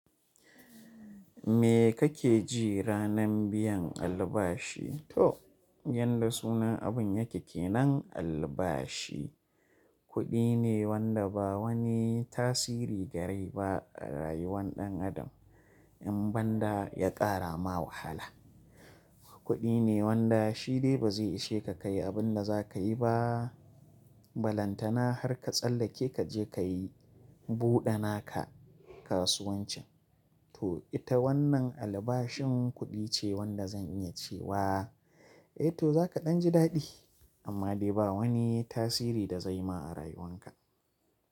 Me kake ji ranan biyan albashi? To yanda sunan abun yake kenan albashi, kuɗi ne wanda ba wani tasiri gare ba a rayuwar ɗan adam in banda ya ƙara ma wahala. Kuɗi ne wanda shi dai ba zai ishe ka kayi abun da za ka yi ba. Balantana har ka tsallake kaje kayi buɗana ka kasuwancin. To ita wannan albashin kuɗi ce wanda zan iya cewa eh to zaka ɗan ji daɗi amma dai ba wani tasiri da zai ma a rayuwanka.